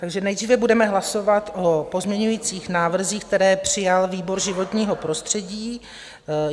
Takže nejdříve budeme hlasovat o pozměňovacích návrzích, které přijal výbor životního prostředí.